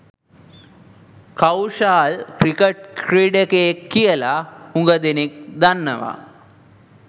Kaushal cricket ක්‍රීඩකයෙක් කියලා හුඟ දෙනෙක් දන්නවා.